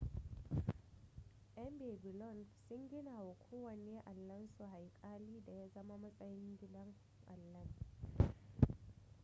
yan babylon sun gina wa kowanne allansu haikali da ya zama matsayin gidan allan